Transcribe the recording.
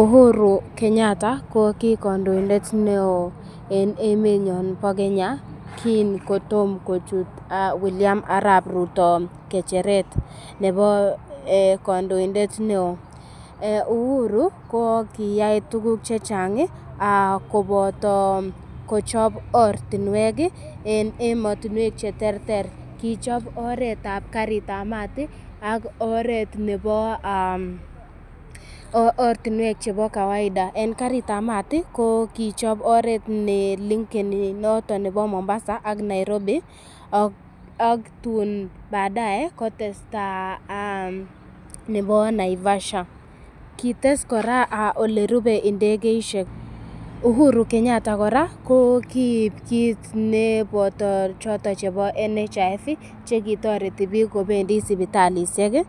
Uhuru Kenyatta ko ki kondoindet neo en emenyon bo Kenya kin kotom kochut Wiliam Arap Ruto ng'echeret nebo kondoinde neo. Uhuru ko kiyai tuguk che chang koboto kochob ortinwek en emotinwek che terter. Kichop oretab karit ab maat ak oret nebo, ortinwek chebo kawaida. En karitab maat ii ko kichoporet nelinken noton nebo Mombasa ak Nairobi ak tun baadae kotesta nebo Naivasha. Kites kora olerupe ndegeishek. Uhuru Keyatta kora kokib kit neboto choton chebo NHIF che kitoreti biik kobendi sipitalisiek,